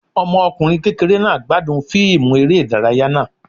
Ọmọkunrin kékeré náá gbadún fiimú eré idàráyá naa